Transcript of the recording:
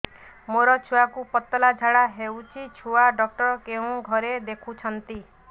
ମୋର ଛୁଆକୁ ପତଳା ଝାଡ଼ା ହେଉଛି ଛୁଆ ଡକ୍ଟର କେଉଁ ଘରେ ଦେଖୁଛନ୍ତି